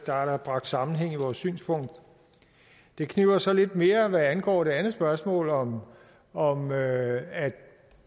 der er bragt sammenhæng i vores synspunkt det kniber så lidt mere hvad angår det andet spørgsmål om om at